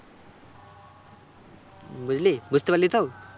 বুঝলি? বুঝতে পারলি তো?